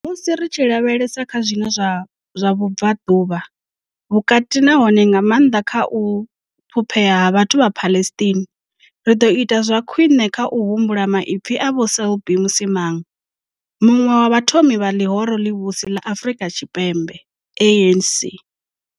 Musi ri tshi lavhelesa kha zwiwo zwa Vhubvaḓuvha Vhukati nahone nga maanḓa kha u ṱhuphea ha vhathu vha Palestine, ri ḓo ita zwa khwiṋe kha u humbula maipfi a Vho Selby Msimang, muṅwe wa vhathomi vha ḽihoro ḽivhusi ḽa Afrika Tshipembe ANC.